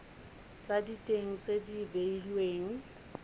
tsa diteng tse di beilweng